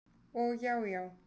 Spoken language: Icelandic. Og já já.